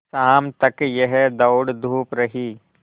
शाम तक यह दौड़धूप रही